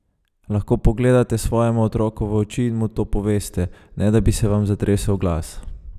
Lahko pogledate svojemu otroku v oči in mu to poveste, ne da bi se vam zatresel glas?